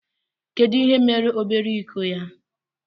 Kedu ihe mere obere iko ya.